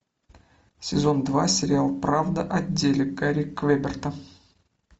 сезон два сериал правда о деле гарри квеберта